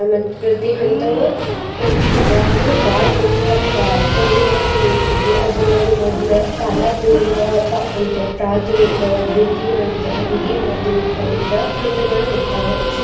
ಮತ್ತ್ ಪ್ರತಿ ಹಂತವೂ ಪ್ರತಿ ವಿದ್ಯಾರ್ಥಿಗು ಬಾಳ ಮುಖ್ಯವಾದ ಬಾ~ ಕೊಡುಗೆಗಳನ್ನ ನೀಡ್ತೇತಿ. ಅದ್ರೊಳಗ ಮದ್ಲ ಶಾಲಾ ಪೂರ್ವ ಹಂತ, ಪ್ರಾರ್ಥಮಿಕ, ದ್ವಿತೀಯ ಹಂತ, ಹಿರಿಯ ಮಾದ್ಯಮಿಕ ಹಂತ ಹಂತಗಳು ಇರ್ತಾವ.